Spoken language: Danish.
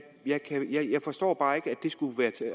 forstår bare ikke